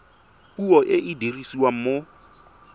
puo e e dirisiwang mo